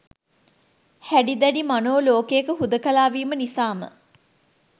හැඩි දැඩි මනෝ ලෝකයක හුදකලා වීම නිසාම